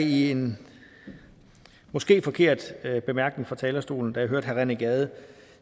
i en måske forkert bemærkning fra talerstolen da jeg hørte herre rené gade